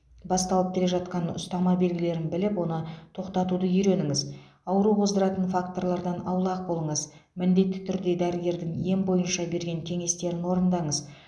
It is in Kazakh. басталып келе жатқан ұстама белгілерін біліп оны тоқтатуды үйреніңіз ауру қоздыратын факторлардан аулақ болыңыз міндетті түрде дәрігердің ем бойынша берген кеңестерін орындаңыз